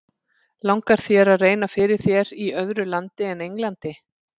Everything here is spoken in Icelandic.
Langar þér að reyna fyrir þér í öðru landi en Englandi?